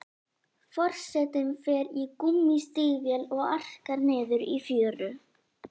Forsetinn fer í gúmmístígvél og arkar niður í fjöru.